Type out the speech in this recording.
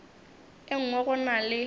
e nngwe go na le